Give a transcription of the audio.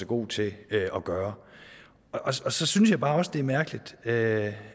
god til at gøre så synes jeg også bare det er mærkeligt at